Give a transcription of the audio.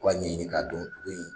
O b'a ɲɛɲini ka don dugu in